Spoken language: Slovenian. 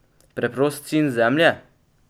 Preprost sin zemlje?